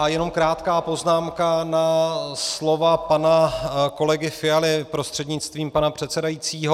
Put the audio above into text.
A jenom krátká poznámka na slova pana kolegy Fialy prostřednictvím pana předsedajícího.